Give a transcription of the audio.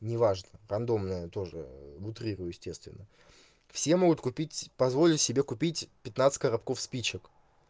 неважно рандомное тоже утрирую естественно все могут купить позволить себе купить пятнадцать коробков спичек